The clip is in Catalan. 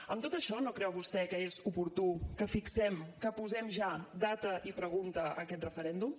amb tot això no creu vostè que és oportú que fixem que posem ja data i pregunta a aquest referèndum